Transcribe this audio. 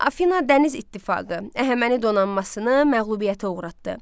Afina dəniz ittifaqı Əhəməni donanmasını məğlubiyyətə uğratdı.